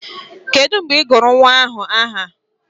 Kedu mgbe ị gụrụ nwa ahụ aha?